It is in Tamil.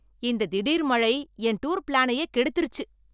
இந்த தீடிர் மழை என் டூர் பிளானையே கெடுத்திருச்சு.